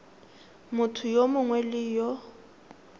motho yo mongwe le yo